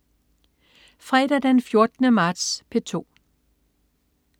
Fredag den 14. marts - P2: